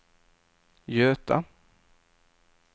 Göta